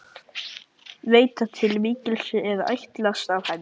Veit að til mikils er ætlast af henni.